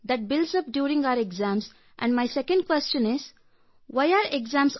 ಮತ್ತು ನನ್ನ ಎರಡನೇ ಪ್ರಶ್ನೆ ಏಕೆ ಪರೀಕ್ಷೆಗಳು ಆಟವೇ ಬೇಡ ಕೇವಲ ಓದು ಓದು ಎನ್ನುವುದಾಗಿದೆ